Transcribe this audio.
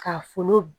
Ka funu